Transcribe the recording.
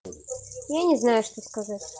я не знаю что сказать